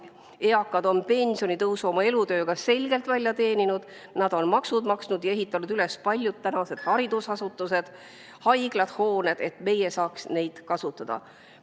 Eakad on pensionitõusu oma elutööga selgelt välja teeninud, nad on maksud maksnud ja ehitanud üles paljud tänased haridusasutused, haiglad ja muud hooned, et meie saaks neid kasutada.